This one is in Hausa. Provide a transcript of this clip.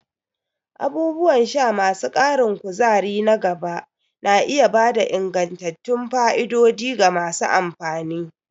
Abubuwan sha masu ƙarin kuzari na gaba na iya ba da ingantattun fa'idodi ga masu amfani.